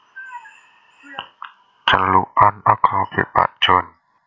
Celukan akrabé Pak Jon